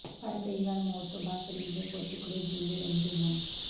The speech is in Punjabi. ਪਰ ਕਈ ਵਾਰ ਮੌਤ ਤੋਂ ਬਾਅਦ ਸਰੀਰ ਦੇ ਕੁਝ ਟੁਕੜੇ ਜੀਉਂਦੇ ਰਹਿੰਦੇ ਹਨ